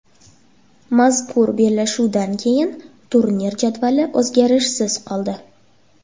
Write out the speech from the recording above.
Mazkur bellashuvdan keyin turnir jadvali o‘zgarishsiz qoldi.